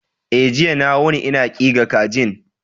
E, jiya na wuni ina ƙiga kajin.